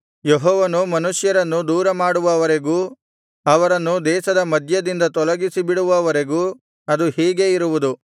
ಯೆಹೋವನು ಮನುಷ್ಯರನ್ನು ದೂರಮಾಡುವವರೆಗೂ ಅವರನ್ನು ದೇಶದ ಮಧ್ಯದಿಂದ ತೊಲಗಿಸಿಬಿಡುವವರೆಗೂ ಅದು ಹೀಗೆ ಇರುವುದು